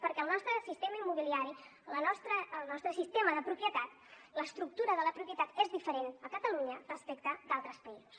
perquè el nostre sistema immobiliari el nostre sistema de propietat l’estructura de la propietat és diferent a catalunya respecte d’altres països